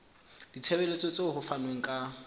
ditshebeletso tseo ho fanweng ka